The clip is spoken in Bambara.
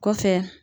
Kɔfɛ